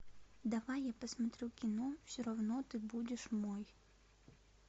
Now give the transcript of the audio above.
давай я посмотрю кино все равно ты будешь мой